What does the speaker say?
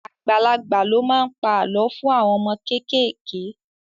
Àgbàlagbà ló máa ń pa àlọ́ fún àwọn àwọn ọmọ kéékèèké